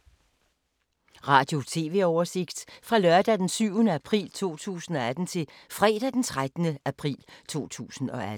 Radio/TV oversigt fra lørdag d. 7. april 2018 til fredag d. 13. april 2018